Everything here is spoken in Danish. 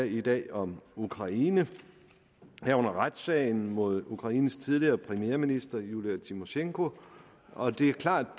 i dag om ukraine herunder retssagen mod ukraines tidligere premierminister julija tymosjenko og det er klart